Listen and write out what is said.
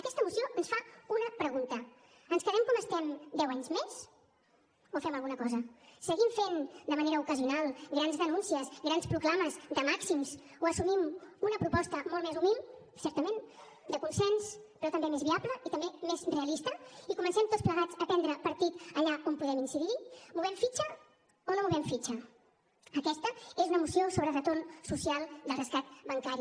aquesta moció ens fa una pregunta ens quedem com estem deu anys més o fem alguna cosa seguim fent de manera ocasional grans denúncies grans proclames de màxims o assumim una proposta molt més humil certament de consens però també més viable i també més realista i comencem tots plegats a prendre partit allà on podem incidir movem fitxa o no movem fitxa aquesta és una moció sobre el retorn social del rescat bancari